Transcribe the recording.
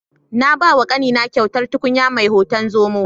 Na bawa ƙanina kyautar tukunya mai hoton zomo.